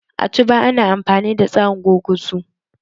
A Cuba ana amfani da tsarin gurguzu